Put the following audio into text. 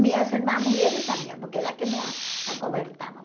Minhas irmãs mulheres sabiam, porque elas que me a acobertavam.